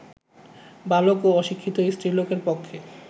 বালক ও অশিক্ষিত স্ত্রীলোকের পক্ষে